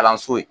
Kalanso ye